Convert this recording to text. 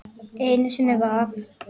Einu sinni var það